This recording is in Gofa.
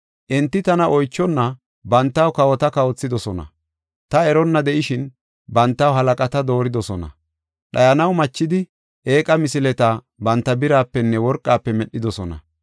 Enti tana oychonna bantaw kawota kawothidosona; ta eronna de7ishin bantaw halaqata dooridosona. Dhayanaw machidi eeqa misileta banta birapenne worqafe medhidosona.